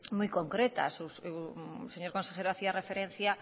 muy concretas el señor consejero hacía referencia